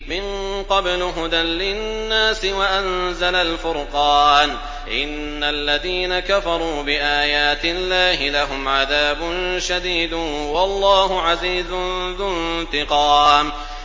مِن قَبْلُ هُدًى لِّلنَّاسِ وَأَنزَلَ الْفُرْقَانَ ۗ إِنَّ الَّذِينَ كَفَرُوا بِآيَاتِ اللَّهِ لَهُمْ عَذَابٌ شَدِيدٌ ۗ وَاللَّهُ عَزِيزٌ ذُو انتِقَامٍ